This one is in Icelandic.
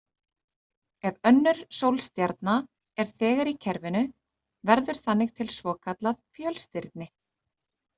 Ef önnur sólstjarna er þegar í kerfinu verður þannig til svokallað fjölstirni.